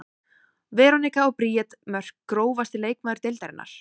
Veronika og Bríet Mörk Grófasti leikmaður deildarinnar?